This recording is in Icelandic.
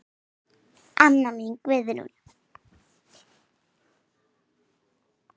Amma mín Guðrún.